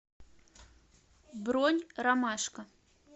бронь ромашка